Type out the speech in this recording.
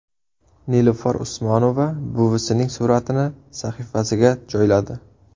Nilufar Usmonova buvisining suratini sahifasiga joyladi.